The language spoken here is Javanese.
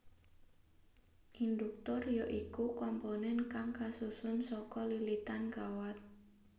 Induktor ya iku komponen kang kasusun saka lilitan kawat